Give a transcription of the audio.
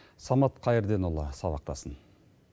самат қайырденұлы сабақтасын